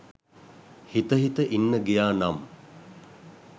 හිත හිත ඉන්න ගියා නම්